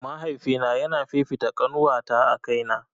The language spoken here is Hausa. Mahaifina yana fifita ƙanuwata a kaina